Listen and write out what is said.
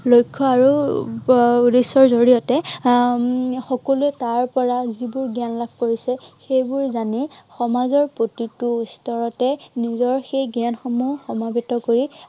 লক্ষ্য় এৰ আৰু উদ্দেশ্য়ৰ জড়িয়তে উম সকলোৱে তাৰ পৰা যিবোৰ জ্ঞান লাভ কৰিছে, সেইবোৰ জানি সমাজৰ প্ৰতিটো স্তৰতে নিজৰ সেই জ্ঞানসমূহ সমৰ্পিত কৰি